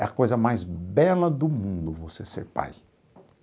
É a coisa mais bela do mundo você ser pai.